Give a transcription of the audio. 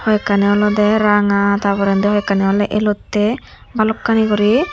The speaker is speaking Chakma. hoyekkani olode ranga tar poredi hoi ekani elotte balokani gori.